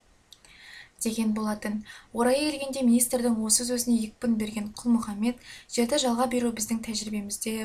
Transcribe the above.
деген болатын орайы келгенде министрдің осы сөзіне екпін берген құл-мұхаммед жерді жалға беру біздің тәжірибемізде